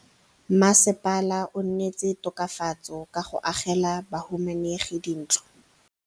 Mmasepala o neetse tokafatsô ka go agela bahumanegi dintlo.